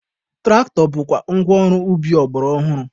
Tụraktọ bụkwa ngwa ọrụ ubi ọgbara ọhụrụ.